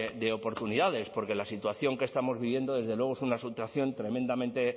de oportunidades porque la situación que estamos viviendo desde luego es una situación tremendamente